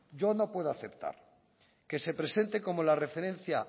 yo no puedo aceptar que se presente como la referencia